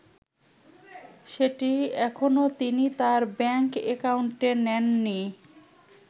সেটি এখনো তিনি তাঁর ব্যাংক একাউন্টে নেননি।